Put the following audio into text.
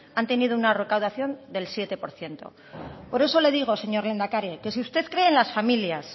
han tenido una recaudación del siete por ciento por eso le digo señor lehendakari que si usted cree en las familias